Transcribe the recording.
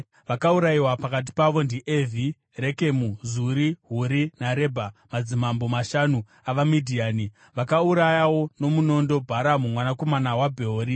Vakaurayiwa pakati pavo ndiEvhi, Rekemu, Zuri, Huri naRebha, madzimambo mashanu avaMidhiani. Vakaurayawo nomunondo Bharamu mwanakomana waBheori.